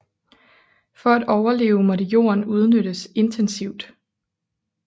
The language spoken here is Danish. For at overleve måtte jorden udnyttes intensivt